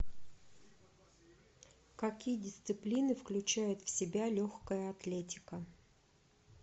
какие дисциплины включает в себя легкая атлетика